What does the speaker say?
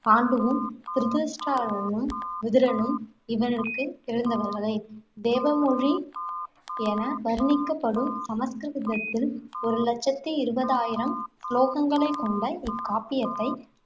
பாண்டுவும், திருதராஷ்டிரனும், விதுரனும் இவருக்குப் பிறந்தவர்களே. தேவமொழி என வர்ணிக்கப்படும் சமஸ்கிருதத்தில், ஒரு லட்சத்து இருவது ஆயிரம் ஸ்லோகங்களை கொண்ட இக்காப்பியத்தை,